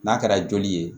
N'a kɛra joli ye